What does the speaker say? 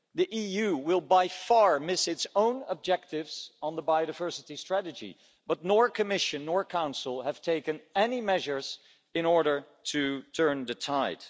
The EU will by far miss its own objectives on the biodiversity strategy but neither the Commission nor the Council have taken any measures in order to turn the tide.